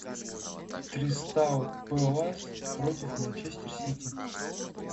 кристал пэлас против манчестер сити